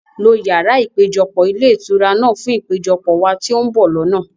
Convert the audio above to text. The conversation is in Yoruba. lo yàrá ìpéjọpọ̀ ilé ìtura náà fún ìpéjọpọ̀ wá ti o n bọ̀ lọ́nà!